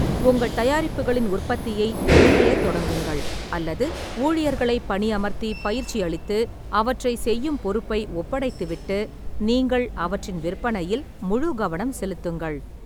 உங்கள் தயாரிப்புகளின் உற்பத்தியை நீங்களே தொடங்குங்கள் அல்லது ஊழியர்களைப் பணியமர்த்திப் பயிற்சியளித்து அவற்றைச் செய்யும் பொறுப்பை ஒப்படைத்துவிட்டு நீங்கள் அவற்றின் விற்பனையில் முழுக்கவனம் செலுத்துங்கள்.